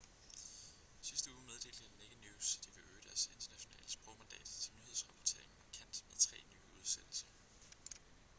sidste uge meddelte naked news at de ville øge deres internationale sprogmandat til nyhedsrapportering markant med tre nye udsendelser